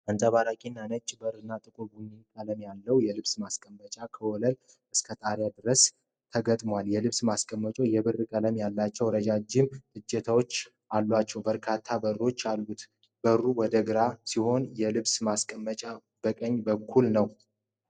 አንጸባራቂ ነጭ በር እና ጥቁር ቡኒ ቀለም ያለው የልብስ ማስቀመጫ ከወለል እስከ ጣራ ድረስ ተገጥሟል። የልብስ ማስቀመጫው የብር ቀለም ያላቸው ረዣዥም እጀታዎች ያሏቸው በርካታ በሮች አሉት። በሩ ወደ ግራ ሲሆን የልብስ ማስቀመጫው በቀኝ በኩል ነው።